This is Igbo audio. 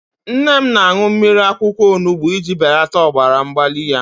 Nne m na-aṅụ mmiri akwụkwọ onubu iji belata ọbara mgbali ya.